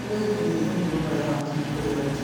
Ũteithagia kũnyihia mĩnoga ha hakiri kũrĩ arutwo.